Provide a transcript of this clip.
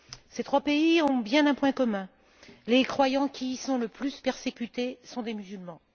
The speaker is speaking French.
Ces trois pays ont bien un point commun les croyants qui y sont le plus persécutés sont des musulmans.